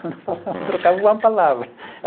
Eu não falava, não trocava uma palavra.